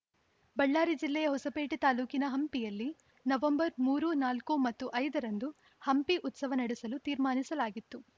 ಬಳ್ಳಾರಿ ಜಿಲ್ಲೆಯ ಹೊಸಪೇಟೆ ತಾಲೂಕಿನ ಹಂಪಿಯಲ್ಲಿ ನವಂಬರ್ ಮೂರು ನಾಲ್ಕು ಮತ್ತು ಐದರಂದು ಹಂಪಿ ಉತ್ಸವ ನಡೆಸಲು ತೀರ್ಮಾನಿಸಲಾಗಿತ್ತು